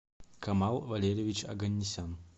камал валерьевич оганнисян